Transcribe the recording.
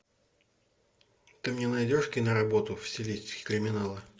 ты мне найдешь киноработу в стилистике криминала